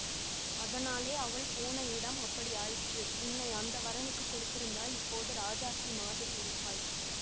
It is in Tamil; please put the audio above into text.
அதனாலே அவள் போன இடம் அப்படியாயிற்று உன்னை அந்த வரனுக்குக் கொடுத்திருந்தால் இப்போது ராஜாத்தி மாதிரி இருப்பாய்